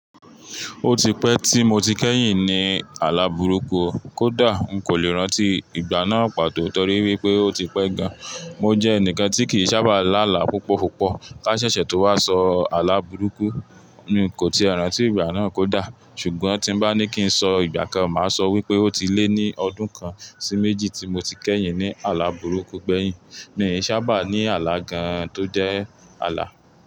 Ó ti pẹ́ tí mo ti kẹ́yìn ní àlàbúrúkú. Kódà, n kò lè rántí ìgbà náà pàtó tọrí wípé ó ti pẹ́ gan. Mo jẹ́ ẹnìkan tí kì í sábà lá àlá púpọ̀púpọ̀. Ká ṣẹ̀ṣẹ̀ tó wá sọ àlàbúrúkú, mi kò ti rántí ìgbà náà kódà. Ṣùgbọ́n tí bá ní kí n sọ ìgbà kan, màá sọ wípé ó ti lé ní ọdún kan sí méjì tí mo ti kẹ́yìn ní àlàbúrúkú gbẹ̀yìn. Mi ò sábà ní àlá gan tó jẹ́ àlá.